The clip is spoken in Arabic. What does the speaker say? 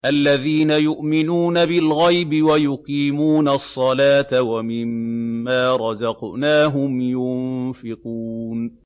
الَّذِينَ يُؤْمِنُونَ بِالْغَيْبِ وَيُقِيمُونَ الصَّلَاةَ وَمِمَّا رَزَقْنَاهُمْ يُنفِقُونَ